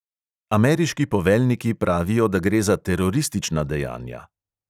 Ameriški poveljniki pravijo, da gre za teroristična dejanja.